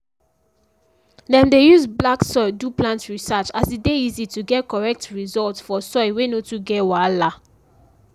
dem dey use black soil do plant research as e dey easy to get correct result for soil wey no too get wahala.